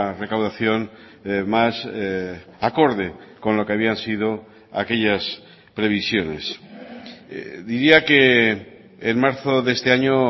recaudación más acorde con lo que habían sido aquellas previsiones diría que en marzo de este año